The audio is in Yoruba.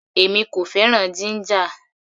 Èmi kò fẹ́ràn jíńjà.